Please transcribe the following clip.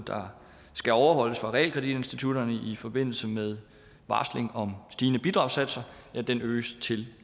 der skal overholdes af realkreditinstitutterne i forbindelse med varsling om stigende bidragssatser øges til